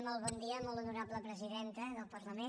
molt bon dia molt honorable presidenta del parlament